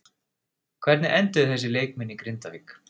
Hvernig enduðu þessir leikmenn í Grindavík?